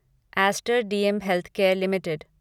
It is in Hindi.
Aster DM Healthcare limited